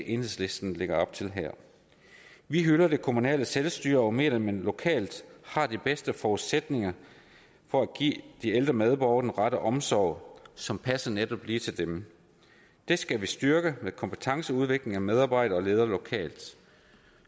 enhedslisten lægger op til her vi hylder det kommunale selvstyre og mener at man lokalt har de bedste forudsætninger for at give de ældre medborgere den rette omsorg som passer netop lige til dem det skal vi styrke med kompetenceudvikling af medarbejdere og ledere lokalt